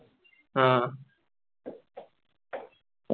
അഹ്